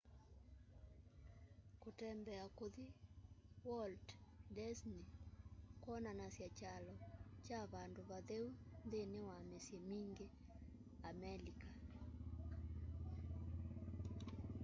kũtembea kuthi walt disney kwonanasya kyalo kya vandũ vatheũ nthĩnĩ wa mĩsyĩ mĩngĩ amelika